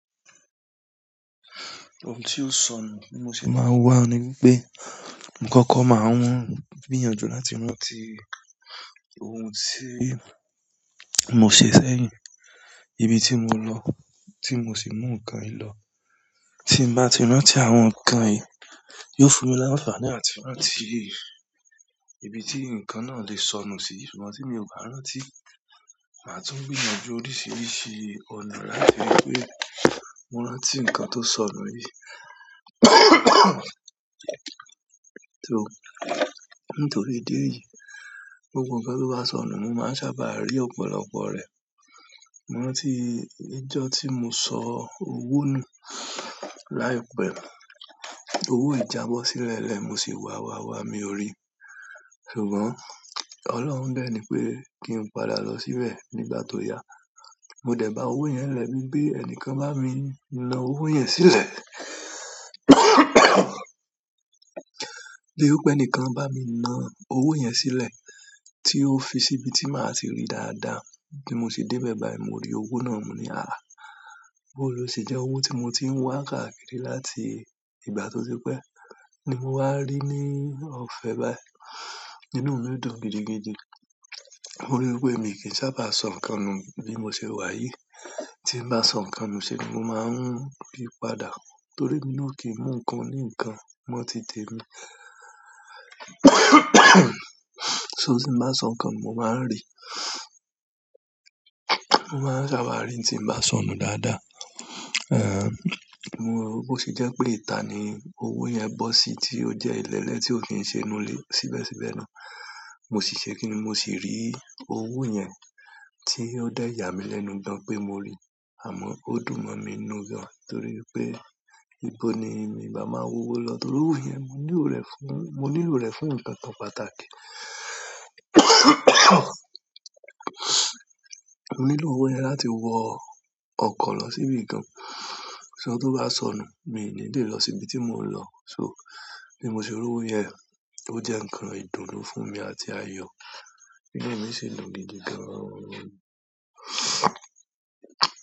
Ohun tí ó sọnù ní mo ṣe máa ń wà ní pé, ǹkankan máa ń gbìyànjú láti mú ti ohun tí mo ṣe sẹ́yìn, ibi tí mo lọ tí mo sì mú nǹkan yìí lọ. Tí m bá ti rántí àwọn nǹkan yìí, yóò fún mi láǹfààní àti rántí ibi tí nǹkan náà lè sọnù sí. Nígbà tí mi ò bá rántí, màá tún gbìyànjú oríṣiríṣi ọ̀nà láti rí i pé rántí ǹkan tó sọnù yìí. So, nítorí ìdí yìí, ohun kan tó bá sọnù, mo máa sábà rí ọ̀pọ̀lọpọ̀ rẹ̀. Mo rántí ọjọ́ tí mo sọ owó nù láìpẹ́, owó yì jábọ́ sílẹ̀ lẹ́ẹ̀, mo sì wà wà wà, mi ò rí i. Ṣùgbọ́n Ọlọ́run dẹ́ni pé kí n padà lọ síbẹ̀ nígbà tó yá. Mo dẹ̀ ba owó yẹn nlẹ̀ bií pé ẹnìkan bá mi na owó yẹn sílẹ̀. Bí wípé pé ẹnìkan bá mi na owó yẹn sílẹ̀ tí ó fi síbi tí màá ti rí i dáadáa, bí mo se dé bẹ́ẹ̀ báyìí mo rí owó náà, mo ní àáá, bó lo ṣe jẹ́ owó tí mo ti ń wá káàkiri láti ìgbà tó ti pẹ́ ní mo wá rí ní ọ̀fẹ́ báyìí? Inú mi dùn gidigidi. Mo rí i pé mi kì í sábà sọ nǹkan nù bí mo ṣe wà yìí. Tí n bá sọ nǹkan nù se ni mo máa ń rí i padà. Torí èmi náà ò kìí mú nǹkan oní nǹkan mọ́ ti t'èmi. So tí n bá sọ nǹkan nù, mo máa ń rí i. Mo máa ń sábà rí i tí n bá sọnù dáadáa. Ehn, mo, bó ṣe jẹ́ pé ìta ni owó yẹn bọ́ sí tí ó jẹ́ ìlélẹ̀ tí ó kì ń ṣe inúlé síbẹ̀síbẹ̀ náà. Mo sì se kínni, mo sì rí owó yẹn tí ó dẹ̀ yà mí lẹ́nu gan-an pé mo rí i àmọ́ ó dùn mọ́ mi n nú gan torí níbo ni nǹbá máa wówó lọ́ torówo mo nílò rẹ̀ fún nǹkan pàtàkì. Mo nílò owó yẹn láti wọ ọkọ̀ lọ síbi kan. Ṣé ọ̀tọ̀ bá sọnù, mi ò ní le lọ síbi tí mò ń lọ. So, bí mo ṣe rí owó yẹn, ó jẹ́ nǹkan ìdùnnú fún mi àti ayọ̀. Inú mi sì dùn gidi gan oo.